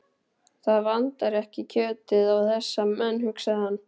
Það vantar ekki kjötið á þessa menn, hugsaði hann.